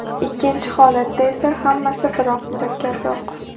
Ikkinchi holatda esa hammasi biroz murakkabroq.